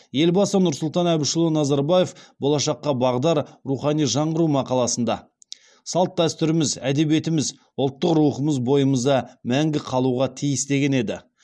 елбасы нұрсұлтан әбішұлы назарбаев болашаққа бағдар рухани жаңғыру мақаласында салт дәстүрлеріміз әдебиетіміз ұлттық рухымыз бойымызда мәңгі қалуға тиіс деген еді